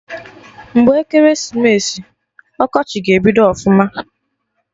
Mgbe ekeresimesi, ọkọchị ga-ebidogo ọfụma